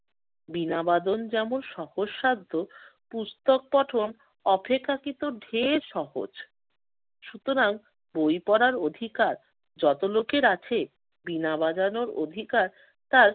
বীণাবাদন যেমন সহজসাধ্য, পুস্তক পঠন অপেক্ষাকৃত ঢের সহজ। সুতরাং বই পড়ার অধিকার যত লোকের আছে বীণা বাজানোর অধিকার তার